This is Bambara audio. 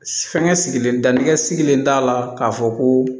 Fɛnkɛ sigilen da nɛgɛ sirilen t'a la k'a fɔ ko